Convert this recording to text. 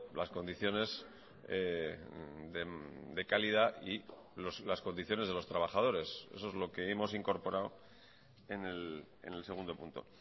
las condiciones de calidad y las condiciones de los trabajadores eso es lo que hemos incorporado en el segundo punto